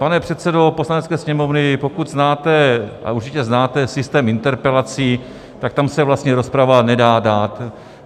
Pane předsedo Poslanecké sněmovny, pokud znáte, a určitě znáte systém interpelací, tak tam se vlastně rozprava nedá dát.